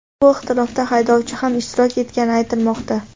Bu ixtilofda haydovchi ham ishtirok etgani aytilmoqda.